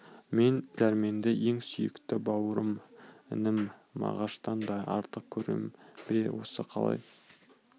мен дәрменді ең сүйікті бауырым інім мағаштан да артық көрем бе осы қалай